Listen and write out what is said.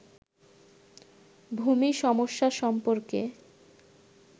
ভূমি সমস্যা সম্পর্কে